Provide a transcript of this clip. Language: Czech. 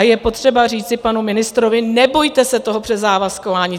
A je potřeba říci panu ministrovi, nebojte se toho přezávazkování.